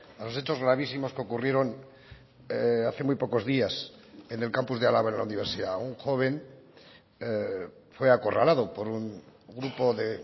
a los hechos gravísimos que ocurrieron hace muy pocos días en el campus de álava en la universidad un joven fue acorralado por un grupo de